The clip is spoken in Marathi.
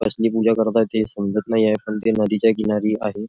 कसली पूजा करत आहे ते समजत नाहीये पण ते नदीच्या किनारी आहे.